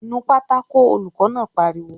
"Nu pátákó!" Olùkọ́ náà pariwo